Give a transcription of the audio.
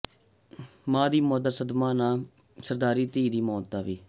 ਮਾਂ ਦੀ ਮੌਤ ਦਾ ਸਦਮਾ ਨਾ ਸਹਾਰਦੀ ਧੀ ਦੀ ਵੀ ਮੌਤ